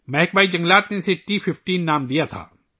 محکمہ جنگلات نے اسے ٹی 15 کا نام دیا تھا